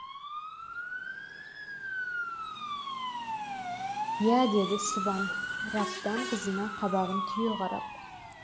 иә деді сыбан раптан қызына қабағын түйе қарап